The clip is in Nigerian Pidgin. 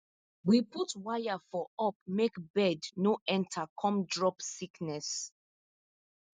we put wire for up make bird no enter come drop sickness